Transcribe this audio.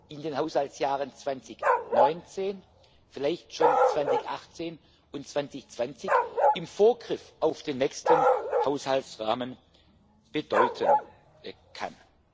in den Haushaltsjahren 2019 vielleicht schon 2018 und 2020 im Vorgriff auf den nächsten Haushaltsrahmen bedeuten kann.